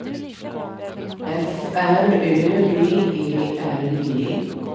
F R Ö B E R G